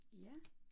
Ja